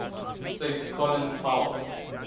state colin powell